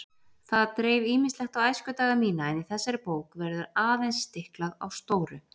Það dreif ýmislegt á æskudaga mína en í þessari bók verður aðeins stiklað á stóru.